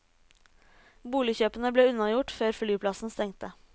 Boligkjøpene ble unnagjort før flyplassen stengte.